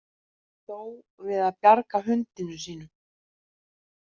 Dó við að bjarga hundinum sínum